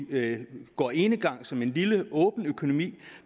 går enegang som en lille åben økonomi